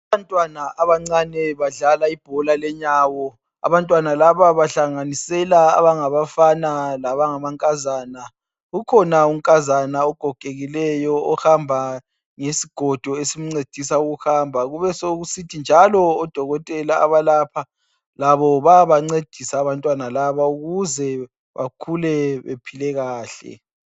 abantwana abancane badlala ibola lenyawo abantwana labo bahlanganisela abafana lama nkazana ukhona unkazana ogogekileyo ohamba ngesigodo esimncedisa ukuhamba kube sokusithi njalo odokotela abalapho labo bayabancedisa abantwana laba ukuze bakhule bephile kahle